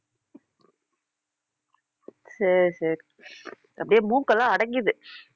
சரி சரி அப்படியே மூக்கு எல்லாம் அடைக்கிது